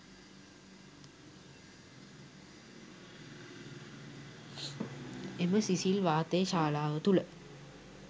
එම සිසිල් වාතය ශාලාව තුළ